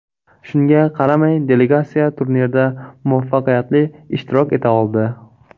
Shunga qaramay, delegatsiya turnirda muvaffaqiyatli ishtirok eta oldi.